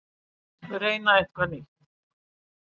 Reyna eitthvað nýtt.